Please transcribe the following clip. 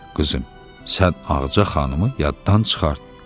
Qızım, sən Ağca xanımı yaddan çıxart.